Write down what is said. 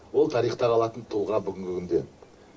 ол тарихта қалатын тұлға бүгінгі күнде